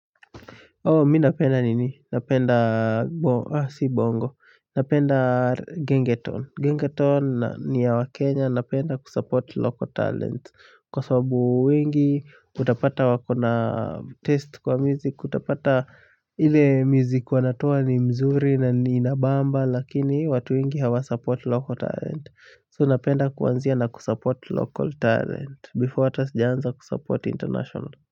Mimi ninapenda nini? Napenda si bongo. Napenda gengeton. Gengeton ni ya wa Kenya. Napenda kusupport local talent. Kwa sababu wengi, utapata wakona test kwa music, utapata ile music wanatoa ni mzuri na ni inabamba lakini watu wengi hawa support local talent. So napenda kuanzia na kusupport local talent before ata sijaanza kusupport international.